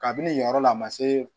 Kabini yɔrɔ la a ma se